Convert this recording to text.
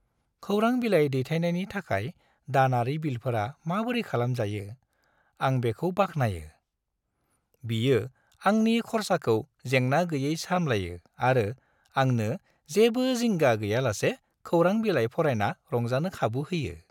खौरां बिलाइ दैथायनायनि थाखाय दानारि बिलफोरा माबोरै खालामजायो, आं बेखौ बाख्नायो। बियो आंनि खर्साखौ जेंना-गैयै सामलायो आरो आंनो जेबो जिंगा गैयालासे खौरां बिलाइ फरायना रंजानो खाबु होयो।